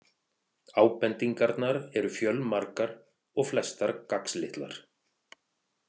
Ábendingarnar eru fjölmargar og flestar gagnslitlar.